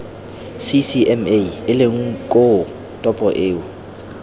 ccma eleng koo topo eo